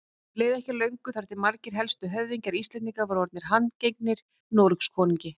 Því leið ekki á löngu þar til margir helstu höfðingjar Íslendinga voru orðnir handgengnir Noregskonungi.